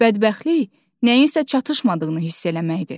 Bədbəxtlik nəyinsə çatışmadığını hiss eləməkdir.